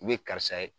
U ye karisa ye